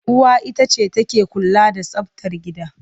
Uwa ita ce take kula da tsabtar gida.